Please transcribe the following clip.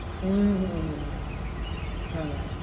উম হ্যাঁ।